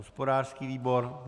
Hospodářský výbor.